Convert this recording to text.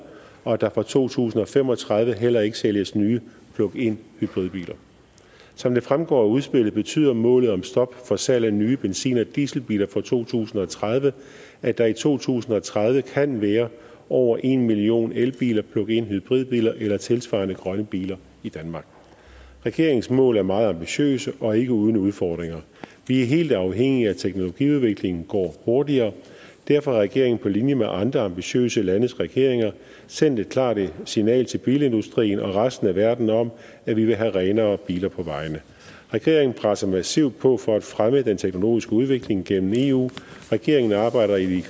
og at der fra to tusind og fem og tredive heller ikke sælges nye plug in hybridbiler som det fremgår af udspillet betyder målet om stop for salg af nye benzin og dieselbiler fra to tusind og tredive at der i to tusind og tredive kan være over en million elbiler plug in hybridbiler eller tilsvarende grønne biler i danmark regeringens mål er meget ambitiøse og ikke uden udfordringer vi er helt afhængige af at teknologiudviklingen går hurtigere derfor har regeringen på linje med andre ambitiøse landes regeringer sendt et klart signal til bilindustrien og resten af verden om at vi vil have renere biler på vejene regeringen presser massivt på for at fremme den teknologiske udvikling gennem eu regeringen arbejder i de